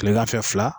Kilegan fɛ fila